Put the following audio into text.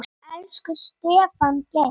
Elsku Stefán Geir.